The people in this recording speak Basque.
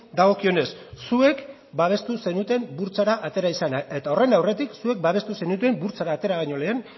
dagokionez zuek babestu zenuten burtsara atera izana eta horren aurretik zuek babestu zenuten burtsara atera baino lehen